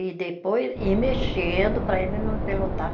E depois ir mexendo para ele não empelotar.